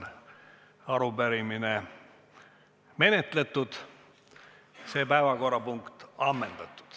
Arupärimine on menetletud, see päevakorrapunkt ammendatud.